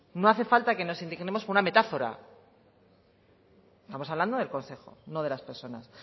no hace falta que nos indignemos por una metáfora estamos hablando del consejo no de las personas